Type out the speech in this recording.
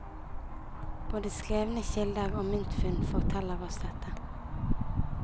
Både skrevne kilder og myntfunn forteller oss dette.